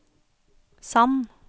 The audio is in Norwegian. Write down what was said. Sand